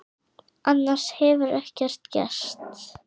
Annars hefur ekkert gerst